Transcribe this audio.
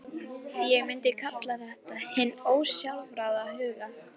Ég myndi kalla þetta hinn ósjálfráða huga.